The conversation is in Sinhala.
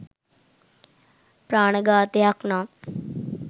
ප්‍රාණඝාතයක් නම්